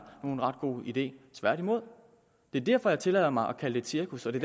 en ret god idé tværtimod det er derfor jeg tillader mig at kalde det et cirkus og det